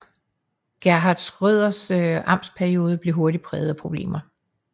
Gerhard Schröders amtsperiode blev hurtigt præget af problemer